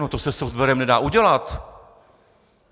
No to se softwarem nedá udělat!